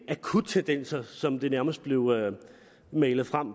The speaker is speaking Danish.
akuttendenser som det nærmest blev malet frem